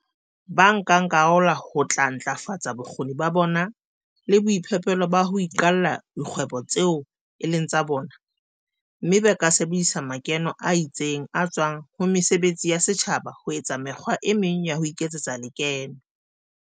Bankakarolo ba tla ntlafatsa bokgoni ba bona le boiphihlelo ba ho iqalla dikgwebo tseo e leng tsa bona, mme ba ka sebedisa makeno a tsitseng a tswang ho mesebetsi ya setjhaba ho etsa mekgwa e meng ya ho iketsetsa lekeno.